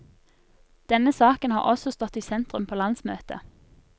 Denne saken har også stått i sentrum på landsmøtet.